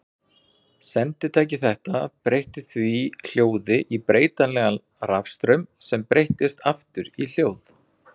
Senditæki þetta breytti því hljóði í breytilegan rafstraum sem breyttist aftur í hljóð.